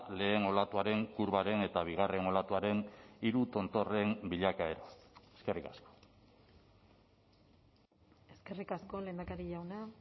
lehen olatuaren kurbaren eta bigarren olatuaren hiru tontorren bilakaera eskerrik asko eskerrik asko lehendakari jauna